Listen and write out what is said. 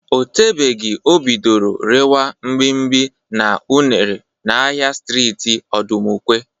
O tebeghi o bidoro rewa mgbimgbi na unere n'ahịa streeti Ọdụmụkwe.